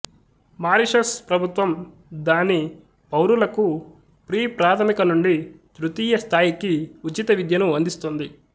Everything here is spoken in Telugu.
మారిషస్ ప్రభుత్వం దాని పౌరులకు ప్రీప్రాధమిక నుండి తృతీయ స్థాయికి ఉచిత విద్యను అందిస్తుంది